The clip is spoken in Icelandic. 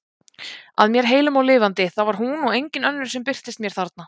Að mér heilum og lifandi, það var hún og engin önnur sem birtist mér þarna!